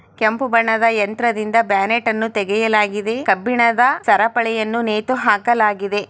ಕೆಂಪು ಬಣ್ಣದ ಯಂತ್ರದಿಂದ ಬ್ಯಾನೆಟನ್ನು ತೆಗೆಯಲಾಗಿದೆ ಕಬ್ಬಿಣದ ಸರಪಳಿಯನ್ನು ನೇತು ಹಾಕಲಾಗಿದೆ.